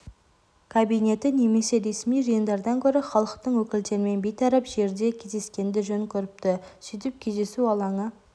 кабинеті немесе ресми жиындардан гөрі халықтың өкілдерімен бейтарап жерде кездескенді жөн көріпті сөйтіп кездесу алаңы